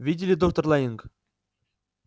видели доктор лэннинг